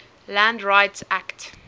land rights act